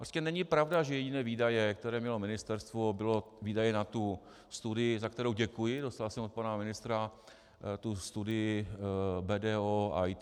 Prostě není pravda, že jediné výdaje, které mělo ministerstvo, byly výdaje na tu studii - za kterou děkuji, dostal jsem od pana ministra tu studii BDO IT.